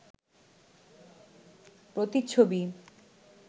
প্রতিচ্ছবি